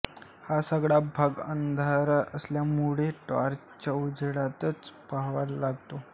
हा सगळा भाग अंधार असल्यामुळे टॉर्चच्या उजेडातच पहावा लागतो